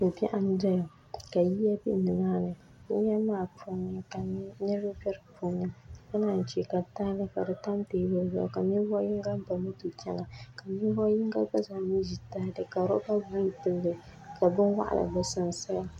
ko'biɛɣu m-beni ka yino be ni maa ni o yili maa puuni ka niriba be di puuni ka naanyi che ka tahili ka di tam teebuli zuɣu ka ninvuɣ'yiŋga ba moto chana ka ninvuɣ'yiŋga gba zaa ŋun ʒi tahili ka rɔba buluu pili li ka bin waɣila be sunsuuni